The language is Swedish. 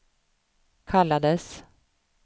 kallades